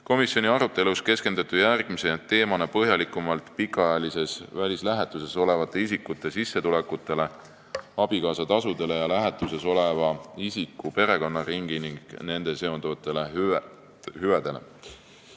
Komisjoni arutelus keskenduti järgmise teemana põhjalikumalt pikaajalises välislähetuses olevate isikute sissetulekutele, abikaasatasudele ja lähetuses oleva isiku perekonnaringile ning nendega seonduvatele hüvedele.